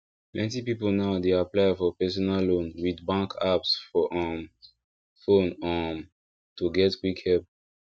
plenty people now dey apply for personal loan with bank apps for um fone um to get quick help